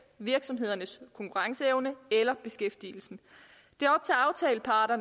virksomhedernes konkurrenceevne eller beskæftigelsen